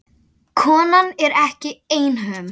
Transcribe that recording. Konan er ekki einhöm.